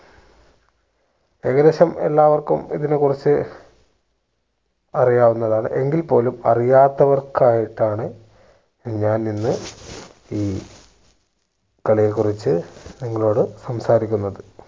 ഏകദേശം എല്ലാവർക്കും ഇതിനെ കുറിച്ച് അറിയാവുന്നതാണ് എങ്കിൽ പോലും അറിയാത്തവർക്കായിട്ടാണ് ഞാൻ ഇന്ന് ഈ കളിയെ കുറിച്ച് നിങ്ങളോട് സംസാരിക്കുന്നത്